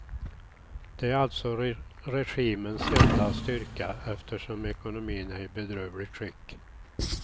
Det är alltså regimens enda styrka eftersom ekonomin är i bedrövligt skick.